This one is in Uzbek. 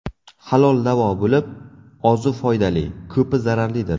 Halol davo bo‘lib, ozi foydali, ko‘pi zararlidir.